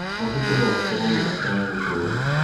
Mabuku no makorwo mũrata wa gũtũũra.